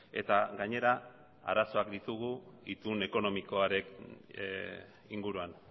eta gainera arazoak ditugu itun ekonomikoaren inguruan